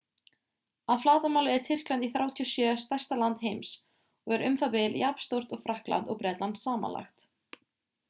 að flatarmáli er tyrkland í 37. stærsta land heims og er u.þ.b. jafnstórt og frakkland og bretland samanlagt